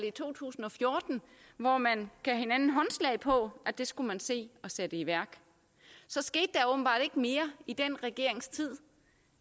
i to tusind og fjorten hvor man gav hinanden håndslag på at det skulle man se at sætte i værk så skete der åbenbart ikke mere i den regerings tid